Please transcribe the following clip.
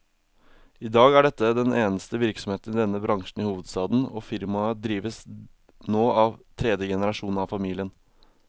I dag er dette den eneste virksomheten i denne bransjen i hovedstaden, og firmaet drives nå av tredje generasjon av familien.